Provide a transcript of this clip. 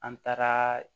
An taara